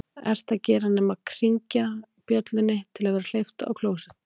ert að gera nema hringja bjöllunni til að vera hleypt á klósett